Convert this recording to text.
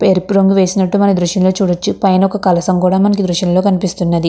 ఎరుపు రంగు వేసినట్టు మనం ఈ దృశ్యంలో చూడచ్చుపైన ఒక్క కలశం కూడా మనకి దృశ్యంలో కనిపిస్తున్నది.